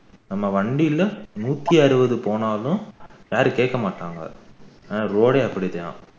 நம்ம வண்டில நூற்றி அறுபது போனாலும் யாரும் கேட்க மாட்டாங்க அந்த road ஏ அப்படித்தான்